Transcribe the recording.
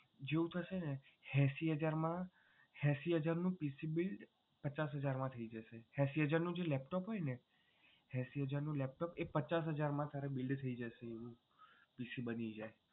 એંસી હજાર માં PC build પચાસ હજાર માં થઈ જશે એંસી હજાર નું જે laptop હોય ને એંસી હજાર નું laptop તારે પચાસ હજાર માં build થઈ જાય.